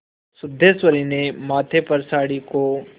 सिद्धेश्वरी ने माथे पर साड़ी को